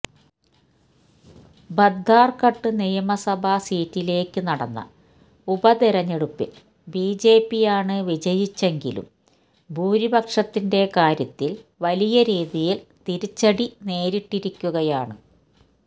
ബദ്ധാര്ഘട്ട് നിയമസഭ സീറ്റിലേക്ക് നടന്ന ഉപതെരഞ്ഞെടുപ്പില് ബിജെപിയാണ് വിജയിച്ചെങ്കിലും ഭൂരിപക്ഷത്തിന്റെ കാര്യത്തിൽ വലിയ രീതിയിൽ തിരിച്ചടി നേരിട്ടിരിക്കുകയാണ്